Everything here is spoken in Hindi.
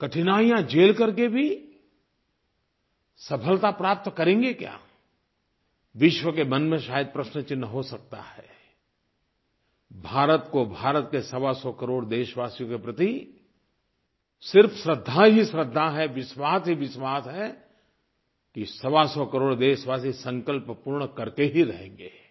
कठिनाइयाँ झेल करके भी सफलता प्राप्त करेंगे क्या विश्व के मन में शायद प्रश्नचिन्ह हो सकता है भारत को भारत के सवासौ करोड़ देशवासियों के प्रति सिर्फ़ श्रद्धा ही श्रद्धा है विश्वास ही विश्वास है कि सवासौ करोड़ देशवासी संकल्प पूर्ण करके ही रहेंगे